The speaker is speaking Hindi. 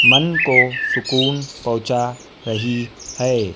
मन को सुकून पहुंचा रही है।